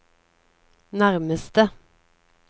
nærmeste